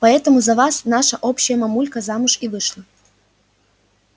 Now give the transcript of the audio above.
поэтому за вас наша общая мамулька замуж и вышла